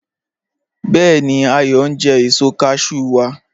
Bẹẹ̀ni, Ayọ n jẹ èṣọ́ cashew wa